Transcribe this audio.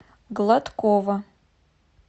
гладкова